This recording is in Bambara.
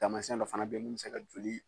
Taamasiyɛn dɔ fana bɛ yen min bɛ se ka joli